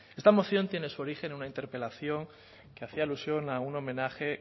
esta moción tiene su origen en una interpelación que hacía alusión a un homenaje